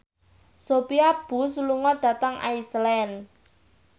Sophia Bush lunga dhateng Iceland